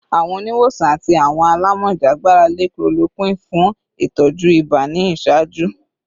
Awọn oniwosan ati awọn alamọja gbarale chloroquine fun itọju iba ni iṣaaju